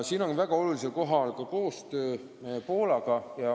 Siin on väga olulisel kohal koostöö Poolaga.